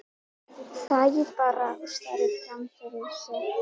Þagði bara og starði fram fyrir sig.